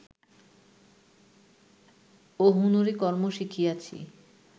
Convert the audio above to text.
ও হুনুরি কর্ম শিখিয়াছি